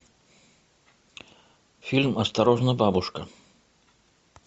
фильм осторожно бабушка